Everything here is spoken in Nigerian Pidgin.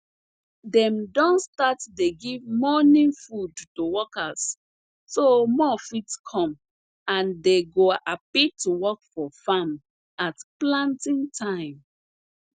dem don start dey give morning food to workers so more fit come and dey go happy to work for farm at planting time